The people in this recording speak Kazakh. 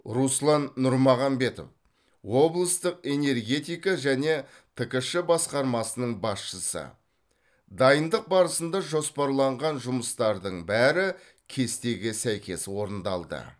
руслан нұрмағанбетов облыстық энергетика және ткш басқармасының басшысы дайындық барысында жоспарланған жұмыстардың бәрі кестеге сәйкес орындалды